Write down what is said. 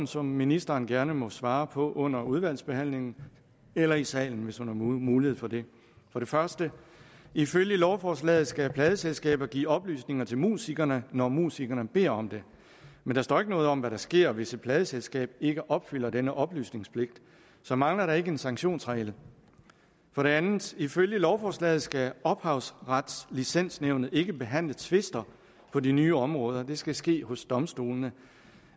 som ministeren gerne må svare på under udvalgsbehandlingen eller i salen hvis hun har mulighed for det for det første ifølge lovforslaget skal pladeselskaber give oplysninger til musikerne når musikerne beder om det men der står ikke noget om hvad der sker hvis et pladeselskab ikke opfylder denne oplysningspligt så mangler der ikke en sanktionsregel for det andet ifølge lovforslaget skal ophavsretslicensnævnet ikke behandle tvister på de nye områder det skal ske hos domstolene